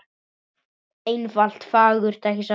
Einfalt og fagurt, ekki satt?